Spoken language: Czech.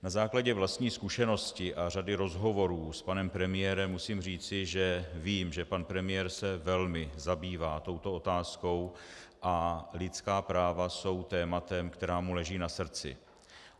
Na základě vlastní zkušenosti a řady rozhovorů s panem premiérem musím říci, že vím, že pan premiér se velmi zabývá touto otázkou a lidská práva jsou tématem, které mu leží na srdci.